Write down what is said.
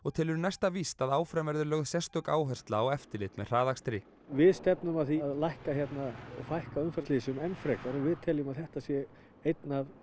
telur næsta víst að áfram verði lögð sérstök áhersla á eftirlit með hraðakstri við stefnum að því að fækka fækka umferðarslysum enn frekar og við teljum að þetta sé einn af